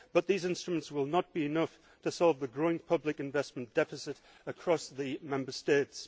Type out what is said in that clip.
But these instruments will not be enough to solve the growing public investment deficit across the Member States.